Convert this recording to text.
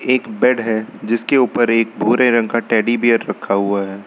एक बेड है जिसके ऊपर एक भूरे रंग का टेडी बियर रखा हुआ है।